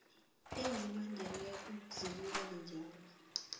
ezibhadelwako zibuyekezwa njalo